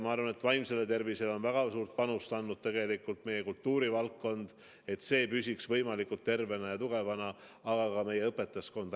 Rahva vaimse tervise huvides on väga suure panuse andnud meie kultuurivaldkond, et see püsiks võimalikult tervena ja tugevana, aga ka meie õpetajaskond.